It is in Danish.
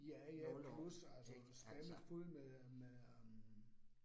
Ja ja plus altså stadig fulde med med hm